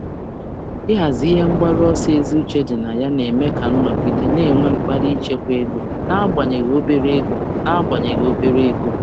Ịhazi ebumnuche ziri ezi na-eme ka m um nọgide na-akpali ichekwa n’agbanyeghị ego dị ntakịrị.